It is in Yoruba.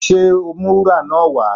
Ṣe o ó mú wúrà náà wá?